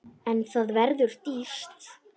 En það verður dýrt.